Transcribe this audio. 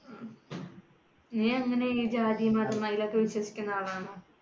നീയെങ്ങനെ ഈ ജാതി, മതം അയിലൊക്കേ വിശ്വസിക്കുന്ന ആളാണോ?